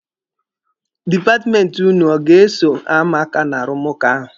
Dipatmenti ụnụ ọ ga-eso ama aka n'arụmụka ahụ?